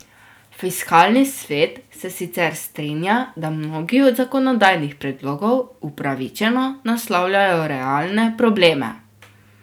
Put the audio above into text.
Fiskalni svet se sicer strinja, da mnogi od zakonodajnih predlogov upravičeno naslavljajo realne probleme.